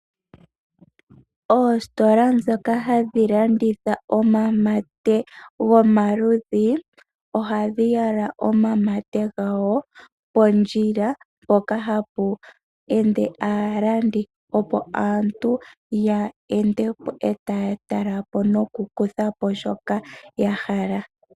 Oositola dhoka hadhi landitha omamate gomaludhi, ohadhi yala omamate gawo pondjila mpoka hapu ende aalandi opo aantu ya ende etatalapo nokukuthapo shoka yahala.